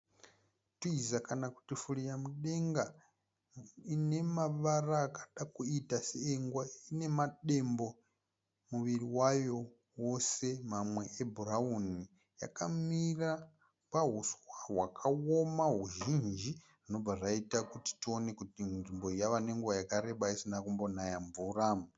Twiza kana kuti furira mudenga ine mavara akada kuita seengwe. Ine madembo muviri wayo wose mamwe ebhurawuni. Yakamira pahuswa hwakaoma huzhinji zvinobva zvaita kuti tione kuti nzvimbo iyi yave nenguva yakareba isina kumbonaya mvura.